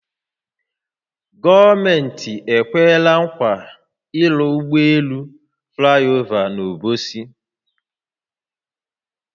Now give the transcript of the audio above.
Gọọmenti ekweela nkwa ịrụ ụgbọ elu flaịova n’Obosi